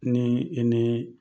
Ni i ni